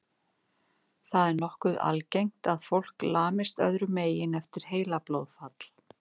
Það er nokkuð algengt að fólk lamist öðrum megin eftir heilablóðfall.